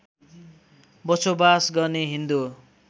बसोबास गर्ने हिन्दू